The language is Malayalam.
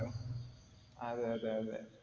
അതെയതെ അതേ